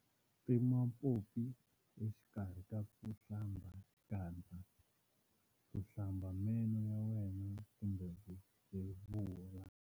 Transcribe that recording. Tima pompi exikarhi ka ku hlamba xikandza, ku hlamba meno ya wena kumbe ku byevula.